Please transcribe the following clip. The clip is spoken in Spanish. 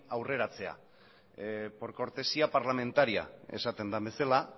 aurreratzea por cortesía parlamentaria esaten den bezala